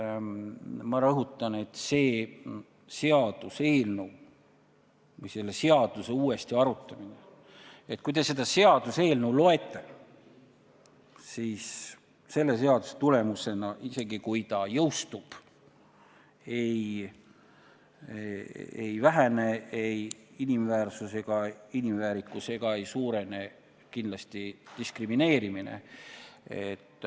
Ma rõhutan, et selle seaduse uuesti arutamisel ja jõustumisel ei vähene ei inimväärsus ega inimväärikus ja kindlasti ei suurene diskrimineerimine.